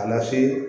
A na se